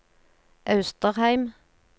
Austrheim